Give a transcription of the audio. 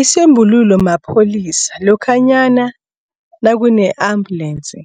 Isombululo mapholisa lokhanyana nakune-ambulance